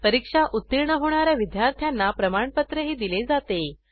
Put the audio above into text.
परीक्षा उत्तीर्ण होणा या विद्यार्थ्यांना प्रमाणपत्रही दिले जाते